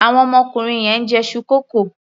Àwọn ọmọkùnrin yẹn ń jẹ iṣu kókò.